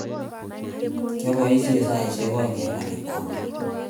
kiapoisien saisiekak ak oeng en garikab maat